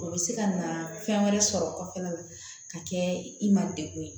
O bɛ se ka na fɛn wɛrɛ sɔrɔ kɔfɛla la ka kɛ i man degun ye